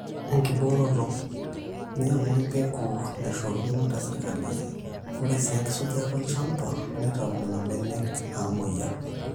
enkibooroto; ny'ang'u empegu naishoruno te sirkali, ore sii enkisujata olchamba neitau nena benek naamweyiaa